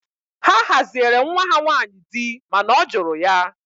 Ha haziere nwa ha nwanyị di mana ọ jụrụ ya